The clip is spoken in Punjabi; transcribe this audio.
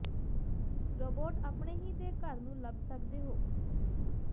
ਰੋਬੋਟ ਆਪਣੇ ਹੀ ਦੇ ਘਰ ਨੂੰ ਲੱਭ ਸਕਦੇ ਹੋ